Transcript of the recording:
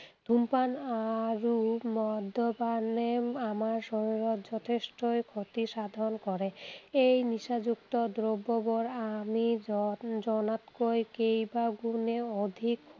ধূমপান অৰু মদ্যপানে আমাৰ শৰীৰত যথেষ্টই ক্ষতিসাধন কৰে। এই নিচাযুক্ত দ্ৰব্যবোৰ আমি জনা, জনাতকৈ কেইবাগুণে অধিক